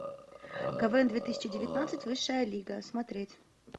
квн две тысячи девятнадцать высшая лига смотреть